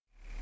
تیم ملی